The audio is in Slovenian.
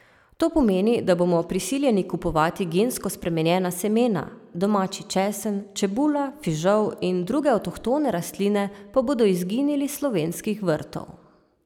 To pomeni, da bomo prisiljeni kupovati gensko spremenjena semena, domači česen, čebula, fižol in druge avtohtone rastline pa bodo izginili s slovenskih vrtov.